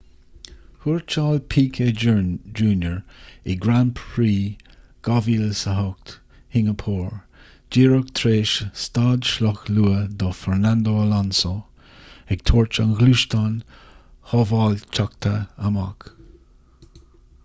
thuairteáil piquet jr in grand prix 2008 shingeapór díreach tar éis stad sloic luath do fernando alonso ag tabhairt an ghluaisteáin shábháilteachta amach